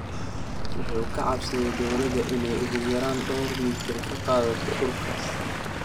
Wuxuu ka codsaday dowladda inay ugu yaraan dhowr mitir ka qaadato dhulkaas.